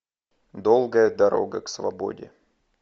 долгая дорога к свободе